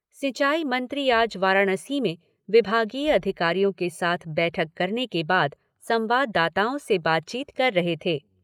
सिंचाई मंत्री आज वाराणसी में विभागीय अधिकारियों के साथ बैठक करने के बाद संवाददाताओं से बातचीत कर रहे थे।